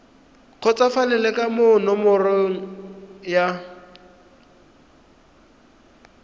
kgotsofalele ka moo ngongorego ya